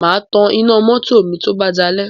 Mà á tan iná mọ́tò mi tó bá dalẹ̀